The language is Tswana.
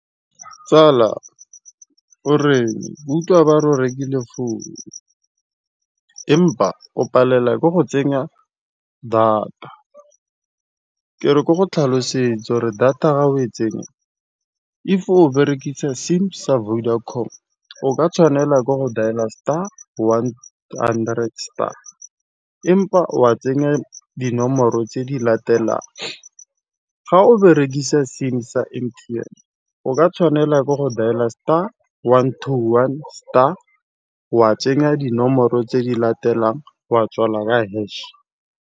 Tsala ke utlwa ba re o rekile founu, empa o palelwa ke go tsenya data. Ka ko go tlhalosetsa re data ga o e tsenya fa o berekisa sim sa Vodacom o ka tshwanela ke go dailer star one hundred star, empa wa tsenya dinomoro tse di latelang. Fa o berekisa sim sa M_T_N and then o ka tshwanela ke go dailer star one to one star wa tsenya dinomoro tse di latelang wa tswala ka hash.